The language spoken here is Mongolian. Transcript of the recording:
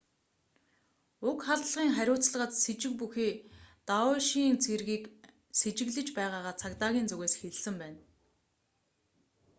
уг халдлагын хариуцлагад сэжиг бүхий даэшийн isil цэргийг сэжиглэж байгаагаа цагдаагийн зүгээс хэлсэн байна